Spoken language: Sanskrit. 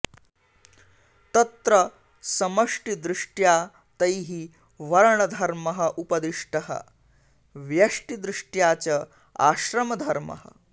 तत्र समष्टिदृष्ट्या तैः वर्णधर्मः उपदिष्टः व्यष्टिदृष्ट्या च आश्रमधर्मः